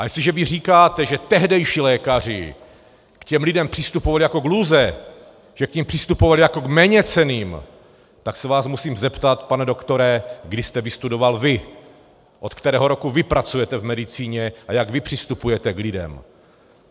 A jestliže vy říkáte, že tehdejší lékaři k těm lidem přistupovali jako k lůze, že k nim přistupovali jako k méněcenným, tak se vás musím zeptat, pane doktore, kdy jste vystudoval vy, od kterého roku vy pracujete v medicíně a jak vy přistupujete k lidem.